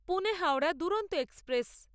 Pune Howrah Duronto express